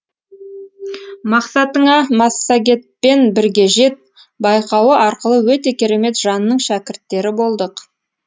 мақсатыңа массагетпен бірге жет байқауы арқылы өте керемет жанның шәкірттері болдық